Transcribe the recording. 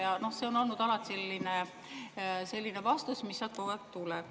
Alati on olnud selline vastus, mis sealt tuleb.